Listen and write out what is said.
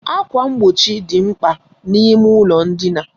Ákwà mgbochi dị mkpa n'ime ụlọ ndina.